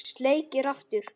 Sleikir aftur.